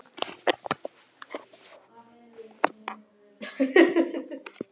Fránn, hvað er í dagatalinu mínu í dag?